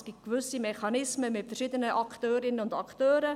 Es gibt gewisse Mechanismen mit verschiedenen Akteurinnen und Akteuren.